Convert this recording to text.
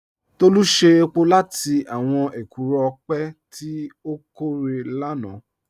Tolu ṣe èpò látì àwọn èkúró ọpẹ̀ tí o kòrè lánà